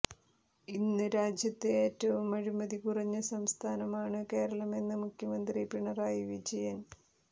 ഇന്ന് രാജ്യത്ത് ഏറ്റവും അഴിമതി കുറഞ്ഞ സംസ്ഥാനമാണ് കേരളമെന്ന് മുഖ്യമന്ത്രി പിണറായി വിജയന്